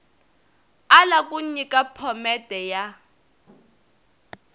ala ku nyika phomete ya